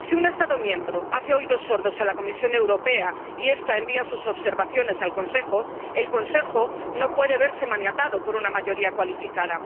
Si un Estado miembro hace oídos sordos a la Comisión Europea y esta envía sus observaciones al Consejo, el Consejo no puede verse maniatado por una mayoría cualificada.